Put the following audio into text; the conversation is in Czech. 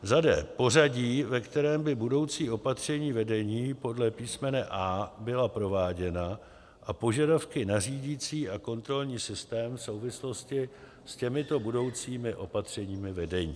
d) pořadí, ve kterém by budoucí opatření vedení podle písmene a) byla prováděna a požadavky na řídicí a kontrolní systém v souvislosti s těmito budoucími opatřeními vedení;